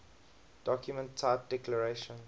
document type declaration